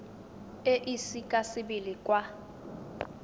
e ise ka sebele kwa